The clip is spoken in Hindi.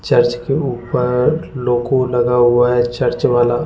चर्च के ऊपर लोगो लगा हुआ है चर्च वाला।